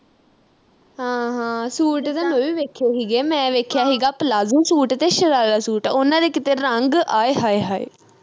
ਹਾਂ ਹਾਂ ਸੂਟ ਤੇ ਮੈਂ ਵੀ ਵੇਖੇ ਹੀਗੇ ਮੈਂ ਵੇਖਿਆ ਹੀਗਾ ਪਲਾਜੂ ਸੂਟ ਤੇ ਸ਼ਰਾਰਾ ਸੂਟ ਉਨ੍ਹਾਂ ਦੇ ਕਿਤੇ ਰੰਗ ਅਏ ਹਏ ਹਏ